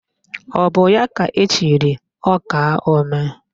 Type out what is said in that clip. Ọ bụ ya ka echiri ọkaomee?